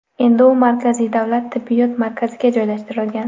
Endi u markaziy davlat tibbiyot markaziga joylashtirilgan.